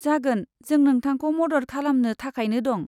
जागोन, जों नोंथांखौ मदद खालामनो थाखायनो दं।